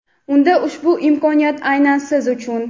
unda ushbu imkoniyat aynan Siz uchun!.